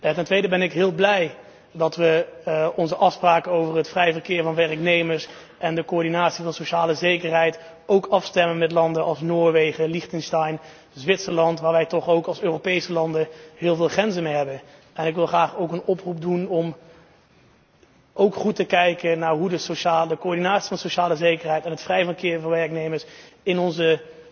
Ten tweede ben ik heel blij dat wij onze afspraak over het vrij verkeer van werknemers en de coördinatie van sociale zekerheid ook afstemmen met landen als Noorwegen, Liechtenstein en Zwitserland, waar wij als Europese landen toch ook heel veel grenzen mee hebben. Ik wil graag een oproep doen om ook goed te kijken naar hoe de coördinatie van sociale zekerheid en het vrije verkeer van werknemers in onze